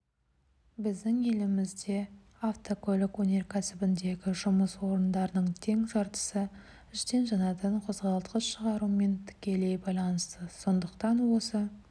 біздің елімізде автокөлік өнеркәсібіндегі жұмыс орындарының тең жартысы іштен жанатын қозғалтқыш шығарумен тікелей байланысты сондықтан осы